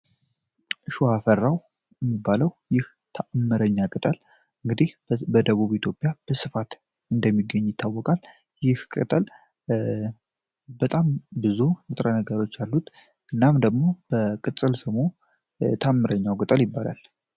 ሸዋፈራሁ የሚባለው ይህ ታምረኛ ቅጠል በደቡብ ኢትዮጵያ በስፋት እንደሚገኝ ይታወቃል ይህ ቅጠል በጣም ብዙ ንጥረነገሮች አሉት። እናም ደግሞ በቅፅል ስሙ ታምረኛው ቅጠል ይባላል።